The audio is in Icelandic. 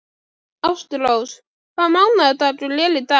Ástrós, hvaða mánaðardagur er í dag?